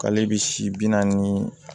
K'ale bɛ si bi naani